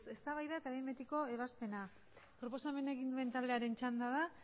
eztabaida eta behin betiko ebazpena proposamena egin duen taldearen txanda da